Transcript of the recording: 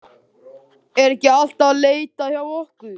Er ekki alltaf leitað hjá okkur?